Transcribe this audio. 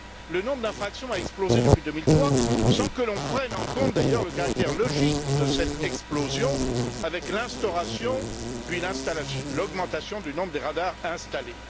Le nombre d'infractions a explosé depuis 2003 sans que l'on prenne en compte, d'ailleurs, le caractère logique de cette explosion, avec l'instauration puis l'augmentation du nombre des radars installés.